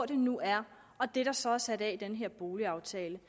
det nu er og det der så er sat af i den her boligaftale